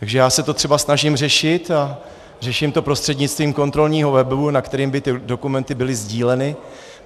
Takže já se to třeba snažím řešit a řeším to prostřednictvím kontrolního webu, na kterém by ty dokumenty byly sdíleny.